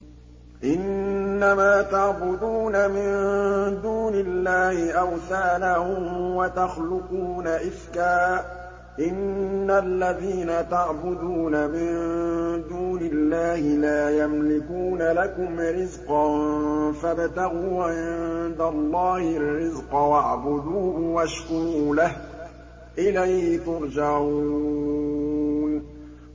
إِنَّمَا تَعْبُدُونَ مِن دُونِ اللَّهِ أَوْثَانًا وَتَخْلُقُونَ إِفْكًا ۚ إِنَّ الَّذِينَ تَعْبُدُونَ مِن دُونِ اللَّهِ لَا يَمْلِكُونَ لَكُمْ رِزْقًا فَابْتَغُوا عِندَ اللَّهِ الرِّزْقَ وَاعْبُدُوهُ وَاشْكُرُوا لَهُ ۖ إِلَيْهِ تُرْجَعُونَ